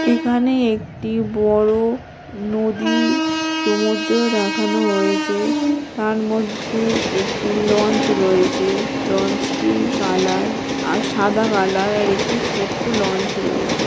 এখানে একটি বড়ো নদী সমুদ্র দেখানো হয়েছে তার মধ্যে একটি লঞ্চ রয়েছে লঞ্চ -টির কালার সাদা কলোর আর একটি ছোট লঞ্চ রয়েছে।